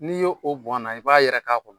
N'i y'o bɔn a na, i b'a yɛrɛ k'a kɔnɔ.